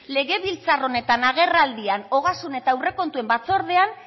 legebiltzar honetan agerraldian ogasun eta aurrekontuen batzordean